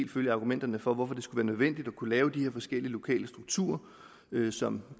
følge argumenterne for hvorfor det skulle være nødvendigt at kunne lave de her forskellige lokale strukturer som